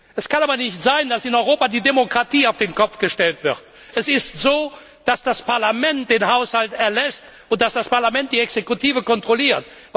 Es kann aber nicht sein, dass in Europa die Demokratie auf den Kopf gestellt wird. Es ist so, dass das Parlament den Haushalt erlässt, und dass das Parlament die Exekutive kontrolliert.